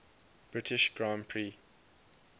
british grand prix